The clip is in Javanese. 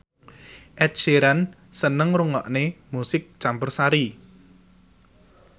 Ed Sheeran seneng ngrungokne musik campursari